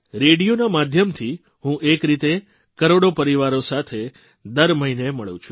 રેડીયોના માધ્યમથી હું એક રીતે કરોડો પરિવારો સાથે દર મહિને મળું છું